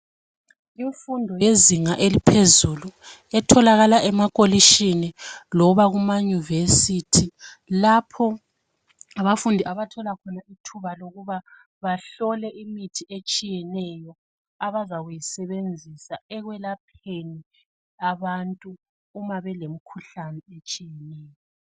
Imfundo yezinga eliphezulu etholakala emakolitshini loba kumaYunivesi lapho abafundi abathola khona ithuba lokuba bahlole imithi etshiyeneyo abazakuyisebenzisa ekwelapheni abantu uma belemikhuhlane etshiyeneyo.